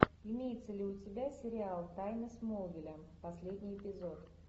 имеется ли у тебя сериал тайны смолвиля последний эпизод